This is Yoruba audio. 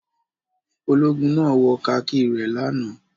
Ológun náà wọ kakí rẹ̀ lánàá.